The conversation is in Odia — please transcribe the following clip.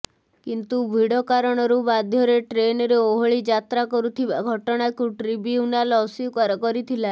କିନ୍ତୁ ଭିଡ କାରଣରୁ ବାଧ୍ୟରେ ଟ୍ରେନରେ ଓହଳି ଯାତ୍ରୀ କରୁଥିବା ଘଟଣାକୁ ଟ୍ରିବ୍ୟୁନାଲ ଅସ୍ୱୀକାର କରିଥିଲା